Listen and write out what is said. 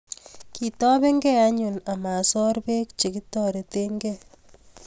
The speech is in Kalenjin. Kitobenkei anyun amasor Bek chekitortokei